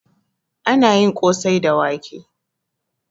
Anayi kosai da wake